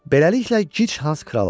Beləliklə Gic Hans kral oldu.